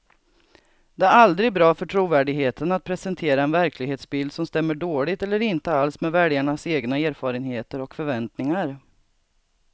Det är aldrig bra för trovärdigheten att presentera en verklighetsbild som stämmer dåligt eller inte alls med väljarnas egna erfarenheter och förväntningar.